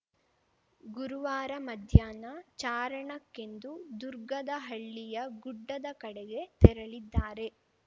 ಗುರುವಾರ ಮಧ್ಯಾಹ್ನ ಚಾರಣಕ್ಕೆಂದು ದುರ್ಗದಹಳ್ಳಿಯ ಗುಡ್ಡದ ಕಡೆಗೆ ತೆರಳಿದ್ದಾರೆ